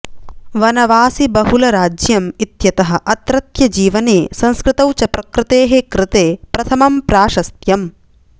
वनवासिबहुलराज्यम् इत्यतः अत्रत्यजीवने संस्कृतौ च प्रकृतेः कृते प्रथमं प्राशस्त्यम्